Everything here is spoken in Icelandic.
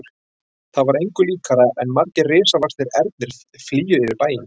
Það var engu líkara en margir risavaxnir ernir flygju yfir bæinn.